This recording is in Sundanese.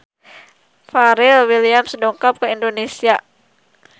Pharrell Williams dongkap ka Indonesia